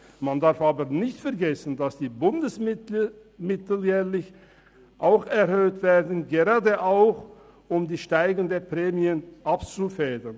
Man darf aber nicht vergessen, dass die Bundesmittel jährlich ebenfalls erhöht werden, gerade auch um die steigenden Prämien abzufedern.